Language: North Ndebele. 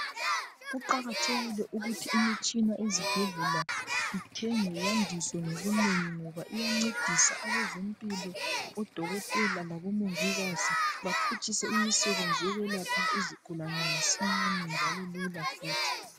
Kuqakathekile ukuthi imitshina ezibhedlela ithengwe yandiswe ngobunengi ngoba iyancedisa abezempilo odokotela kanye labomongikazi baphutshise imisebenzi yokwelapha izigulane masinyane njalo lula futhi.